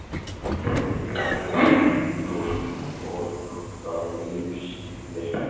Horfði á fótabúnaðinn á gólfinu, forláta leðurstígvél.